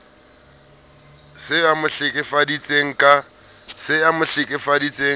se a mo hlekefeditse ka